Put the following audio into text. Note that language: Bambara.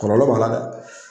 Kɔlɔlɔ b'a la .